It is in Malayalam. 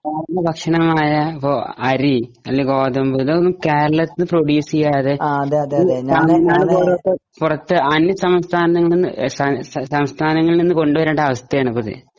സാധാരണ ഭക്ഷ്യങ്ങളായ അരിണ് അല്ലേൽ ഗോതമ്പ് ഇതൊന്നും കെരളത്തീന്ന് പ്രൊഡ്യൂസ് ചെയ്യാതെ അന്യ സംസ്ഥാനങ്ങളിൽ നിന്ന് കൊണ്ടുവരേണ്ട അവസ്ഥയാണ് ഇപ്പൊ ഇത്